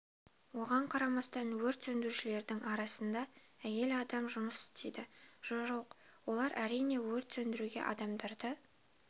оған қарамастан өрт сөндірушілердің арасында әйел адам жұмыс істейді жо-жоқ олар әрине өрт сөндіруге адамдарды